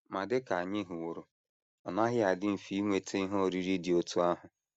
Ma dị ka anyị hụworo, ọ naghị adị mfe inweta ihe oriri dị otú ahụ.